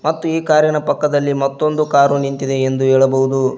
ಮತ್ತು ಈ ಕಾರಿನ ಪಕ್ಕದಲ್ಲಿ ಮತ್ತೊಂದು ಕಾರು ನಿಂತಿದೆ ಎಂದು ಹೇಳಬಹುದು.